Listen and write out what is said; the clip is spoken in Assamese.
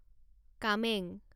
কামেং